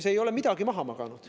Ei, ei ole midagi maha magatud.